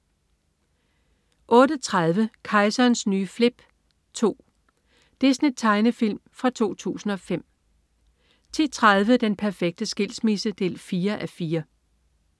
08.30 Kejserens nye flip 2. Disney-tegnefilm fra 2005 10.30 Den perfekte skilsmisse 4:4